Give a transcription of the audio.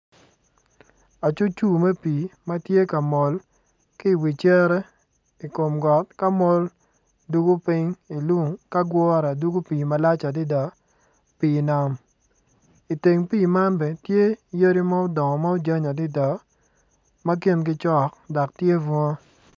Acucrcur me pii ma tye ka mol ki i wi cere ka mol dugo piny i lung ka gure dugo pii malac adada pii nam. I teng pii man bene tye yadi ma odongo ci ojany malac adada ma kingi cok dok tye bunga.